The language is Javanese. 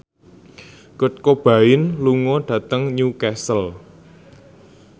Kurt Cobain lunga dhateng Newcastle